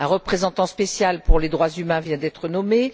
Un représentant spécial pour les droits humains vient d'être nommé.